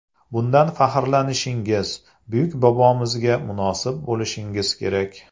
Bundan faxrlanishingiz, buyuk bobomizga munosib bo‘lishingiz kerak.